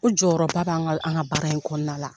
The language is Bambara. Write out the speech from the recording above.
O jɔyɔrɔba bɛ an ka an ka baara in kɔnɔna la.